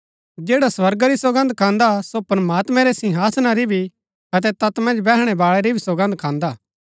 जैडा स्वर्गा री सौगन्द खान्दा सो प्रमात्मैं रै सिंहासना री भी अतै तैत मन्ज बैहणै बाळै री भी सौगन्द खान्दा